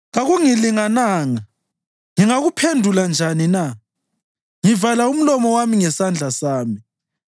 “Kakungilingananga, ngingakuphendula njani na? Ngivala umlomo wami ngesandla sami.